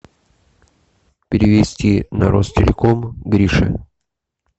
перевести на ростелеком грише